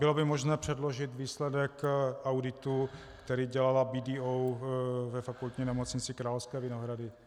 Bylo by možné předložit výsledek auditu, který dělala BDO ve Fakultní nemocnici Královské Vinohrady?